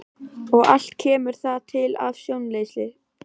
Og allt kemur það til af stjórnleysi.